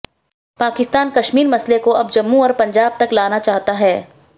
पाकिस्तान कश्मीर मसले को अब जम्मू और पंजाब तक लाना चाहता है